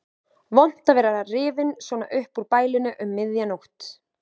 Vont að vera rifinn svona upp úr bælinu um miðja nótt.